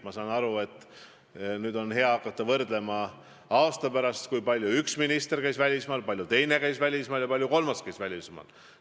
Ma saan aru, et nüüd on hea hakata aasta pärast kokku lugema, kui palju üks minister käis välismaal, kui palju teine käis välismaal ja kui palju kolmas käis välismaal.